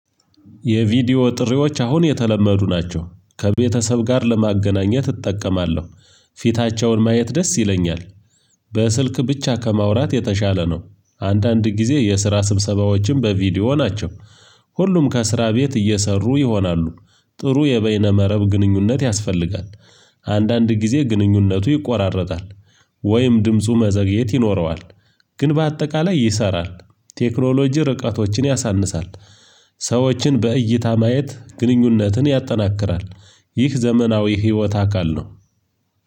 የቪዲዮ ጥሪዎች አሁን የተለመዱ ናቸው ከቤተሰብ ጋር ለማገናኘት እጠቀማለሁ ፊታቸውን ማየት ደስ ይለኛል። በስልክ ብቻ ከማውራት የተሻለ ነው። አንዳንድ ጊዜ የስራ ስብሰባዎችም በቪዲዮ ናቸው። ሁሉም ከስራ ቤት እየሰሩ ይሆናሉ። ጥሩ የበይነ መረብ ግንኙነት ያስፈልጋል። አንዳንድ ጊዜ ግንኙነቱ ይቆራረጣል። ወይም ድምፁ መዘግየት ይኖረዋል። ግን በአጠቃላይ ይሰራል። ቴክኖሎጂ ርቀቶችን ያሳንሳል። ሰዎችን በእይታ ማየት ግንኙነትን ያጠናክራል። ይህ ዘመናዊ ህይወት አካል ነው።